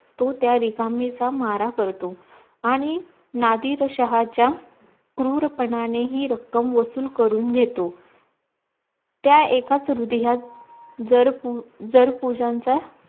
तो त्या रिकामेचा मारा करतोआणी नातीत शहाचा क्रूरपणानेही ती रक्कम वसुल घेतो त्या एकाच् हृदयात जर पू जर पूजांचा